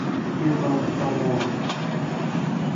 тутанхамон